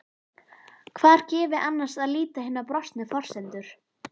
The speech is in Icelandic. Hvar gefi annars að líta hinar brostnu forsendur?